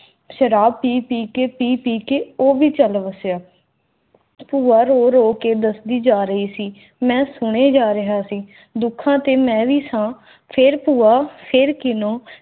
ਸ਼ਰਾਬ ਪੀਤੀ ਕੀਤੀ ਸੀ ਕਿ ਉਹ ਵੀ ਚੱਲ ਵਸਿਆ ਭੂਆ ਰੋ ਰੋ ਕੇ ਦੱਸੀ ਜਾ ਰਹੇ ਸੀ ਮੈਂ ਸੁਣੇ ਜਾ ਰਿਹਾ ਸੀ ਦੁਖੀ ਤੇ ਵੀ ਸਾਂ ਫਿਰ ਬੁਆ ਫਿਰ ਕਿੰਨੂੰ